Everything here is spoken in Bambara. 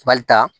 Bali ta